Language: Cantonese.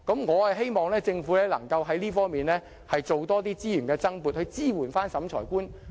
我希望政府能在這方面多撥資源，支援審裁官。